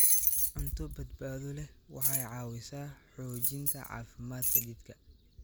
Cunto badbaado leh waxay caawisaa xoojinta caafimaadka jidhka.